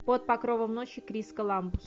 под покровом ночи крис коламбус